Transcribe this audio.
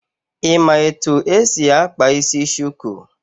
Ị ma etu esi akpa isi shuku?